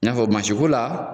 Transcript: N y'a fɔ mansi ko la.